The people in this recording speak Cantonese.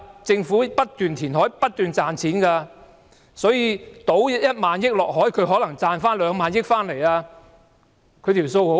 政府不斷填海，不斷賺錢，把1萬億元傾入大海中可能會賺回兩萬億元，很容易計算的。